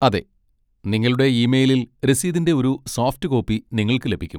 അതെ, നിങ്ങളുടെ ഇ മെയിലിൽ രസീതിന്റെ ഒരു സോഫ്റ്റ് കോപ്പി നിങ്ങൾക്ക് ലഭിക്കും.